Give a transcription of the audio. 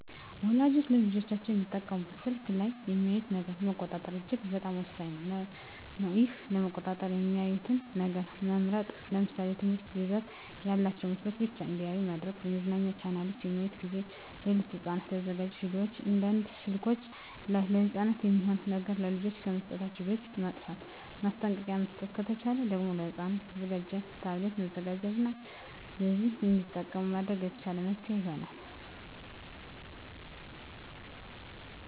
ወላጆች ለልጆቻቸው የሚጠቀሙበት ስልክ ላይ የሚያዩትን ነገር መቆጣጠር እጅግ በጣም ወሳኝ ነገር ነው ይህን ለመቆጣጠር የሚያዩትን ነገር መምረጥ ለምሳሌ የትምህርት ይዘት ያላቸውን ምስሎችን ብቻ እንዲያዩ ማድረግ የመዝናኛ ቻናሎችን በሚያዩበት ጊዜ ሌሎች ለህፃናት ያልተዘጋጁ ቪዲዮወችን እንዳያዩ ስልከችን ላይ ለህፃናት የማይሆኑ ነገሮች ለልጆች ከመስጠታችን በፊት ማጥፍት ማስጠንቀቂያ መስጠት ከተቻለ ደግም ለህፃናት የተዘጋጁ ታብሌቶችን መዘጋጀት እና በዚያ እንዲጠቀሙ ማድረግ የተሻለ መፍትሔ ይሆናል።